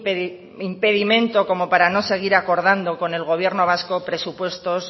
impedimento como para no seguir acordando con el gobierno vasco presupuestos